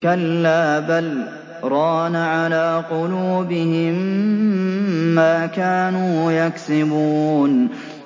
كَلَّا ۖ بَلْ ۜ رَانَ عَلَىٰ قُلُوبِهِم مَّا كَانُوا يَكْسِبُونَ